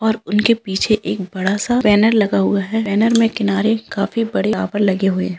और उनके पीछे एक बड़ा-सा बैनर लगा हुआ है बैनर में किनारे काफी बड़े यहाँ पर लगे हुए है।